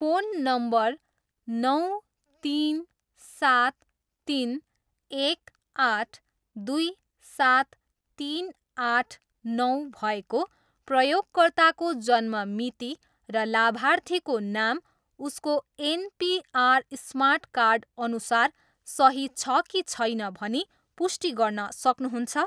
Phone number नौ तिन सात तिन एक आठ दुई सात तिन आठ नौ भएको प्रयोगकर्ताको जन्म मिति र लाभार्थीको नाम उसको एन पि आर स्मार्ट कार्डअनुसार सही छ कि छैन भनी पुष्टि गर्न सक्नुहुन्छ?